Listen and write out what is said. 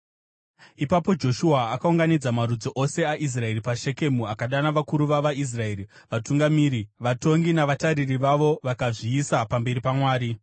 Ipapo Joshua akaunganidza marudzi ose aIsraeri paShekemu. Akadana vakuru vavaIsraeri, vatungamiri, vatongi, navatariri vavo vakazviisa pamberi paMwari.